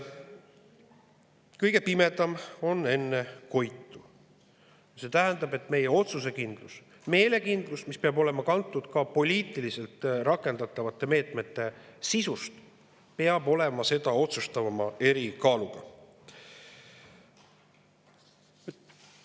Kõige pimedam on enne koitu – see tähendab, et meie otsusekindlus, meelekindlus, mis on kantud poliitiliselt rakendatavate meetmete sisust, peab olema seda otsustavama erikaaluga.